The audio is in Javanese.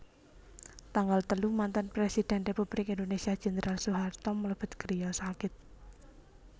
Tanggal telu Mantan presiden Republik Indonesia Jendral Soeharto mlebet griya sakit